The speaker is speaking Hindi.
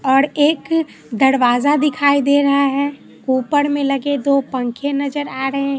और एक दरवाजा दिखाई दे रहा है ऊपर में लगे दो पंखे नजर आ रहे--